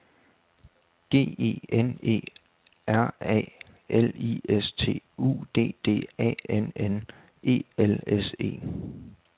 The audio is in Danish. G E N E R A L I S T U D D A N N E L S E